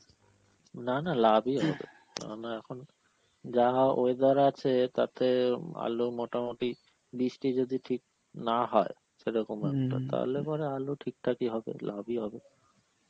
না না লাভই হবে কেননা এখন যাহা weather আছে তাতে আলু মোটামুটি, বৃষ্টি যদি ঠিক না হয় সেরকম একটা তাহলে পরে আলু ঠিকঠাকই হবে, লাভই হবে.